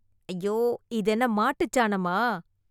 ஐயோ இது என்ன மாட்டுச் சாணமா!